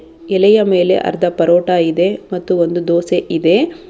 ಎಲೆಯ ಮೇಲೆ ಅರ್ಧ ಪರೋಟ ಇದೆ ಮತ್ತು ಒಂದು ದೋಸೆ ಇದೆ.